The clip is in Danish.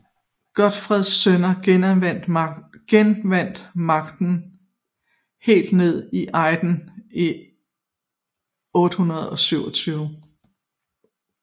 Godfreds sønner genvandt magten helt ned til Ejderen i 827